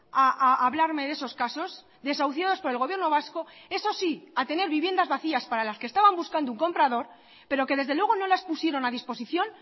a hablarme de esos casos desahuciados por el gobierno vasco eso sí a tener viviendas vacías para las que estaban buscando un comprador pero que desde luego no las pusieron a disposición